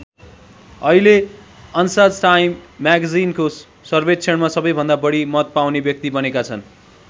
अहिले अन्साज टाइम म्यागजिनको सर्वेक्षणमा सबैभन्दा बढी मत पाउने व्यक्ति बनेका छन्।